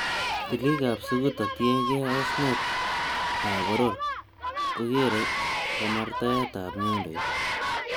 Tilik ab suguta che tiengee osnet ab boror, ko geere kamartaetab nyundoit.